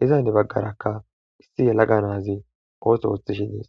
iziza henni baggarakka issi yelaga naazi ooso ooththishi dees